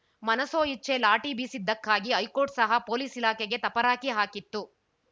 ಮನಸೋ ಇಚ್ಛೆ ಲಾಠಿ ಬೀಸಿದ್ದಕ್ಕಾಗಿ ಹೈಕೋರ್ಟ್‌ ಸಹ ಪೊಲೀಸ್‌ ಇಲಾಖೆಗೆ ತಪರಾಕಿ ಹಾಕಿತ್ತು